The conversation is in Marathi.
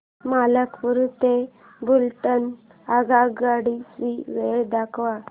मलकापूर ते बुलढाणा आगगाडी ची वेळ दाखव